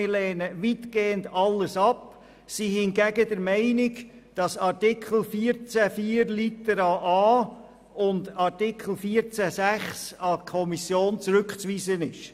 Wir lehnen weitgehend alles ab, sind hingegen der Meinung, dass Artikel 14 Absatz 4 Buchstabe a und Artikel 14 Absatz 6(neu) an die Kommission zurückzuweisen sind.